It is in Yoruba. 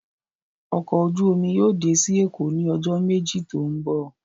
Ọkọ ojú omi yóò dé sí Èkó ní ọjọ́ méjì tó ń bọ̀